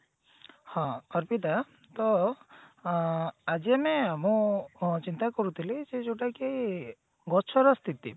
ହଁ ଅର୍ପିତା ତ ଅ ଆଜି ଆମେ ମୁଁ ଚିନ୍ତା କରୁଥିଲି ସେ ଯୋଉଟା କି ଗଛର ସ୍ଥିତି